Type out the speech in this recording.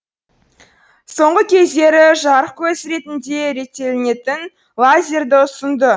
соңғы кездері жарық көзі ретінде реттелінетін лазерді үсынды